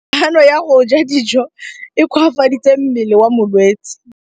Kganô ya go ja dijo e koafaditse mmele wa molwetse.